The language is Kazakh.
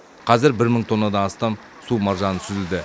қазір бір мың тоннадан астам су маржаны сүзілді